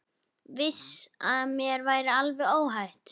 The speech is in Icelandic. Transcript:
Vissi að mér var alveg óhætt.